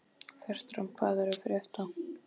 Fertram, hvað er að frétta?